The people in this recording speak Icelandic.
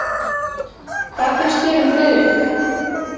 Hvað finnst þér um Friðrik?